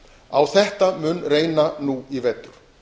á þetta mun reyna nú í vetur